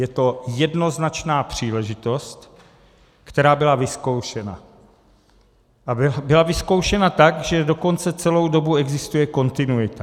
Je to jednoznačná příležitost, která byla vyzkoušena, a byla vyzkoušena tak, že dokonce celou dobu existuje kontinuita.